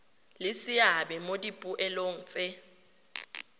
le seabe mo dipoelong tse